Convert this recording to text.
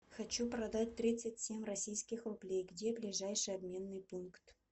хочу продать тридцать семь российских рублей где ближайший обменный пункт